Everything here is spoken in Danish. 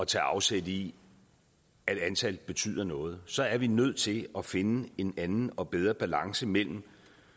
tage afsæt i at antal betyder noget så er vi nødt til at finde en anden og bedre balance mellem